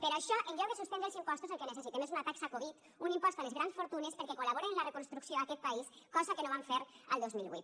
per això en lloc de suspendre els impostos el que necessitem és una taxa covid un impost a les grans fortunes perquè col·laboren en la reconstrucció d’aquest país cosa que no van fer el dos mil vuit